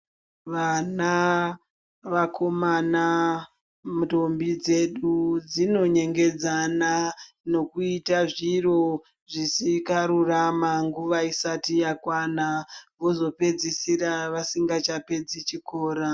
Vana, vakomana, ndombi dzedu dzinonyengedzana ,nokuita zviro zvisikarurama nguva isati yakwana vozopedzisira vasingachapedzi chikora.